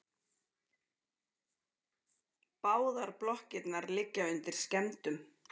Báðar blokkirnar liggja undir skemmdum